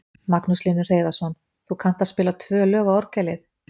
Magnús Hlynur Hreiðarsson: Þú kannt að spila tvö lög á orgelið?